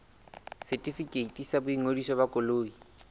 setefikeiti sa boingodiso ba koloi